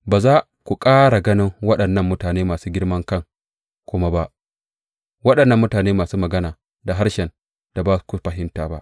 Ba za ku ƙara ganin waɗannan mutane masu girman kai kuma ba, waɗannan mutane masu magana da harshen da ba ku fahimta ba.